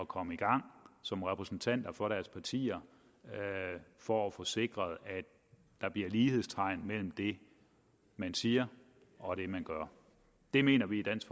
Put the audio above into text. komme i gang som repræsentanter for deres partier for at få sikret at der bliver lighedstegn mellem det man siger og det man gør det mener vi i dansk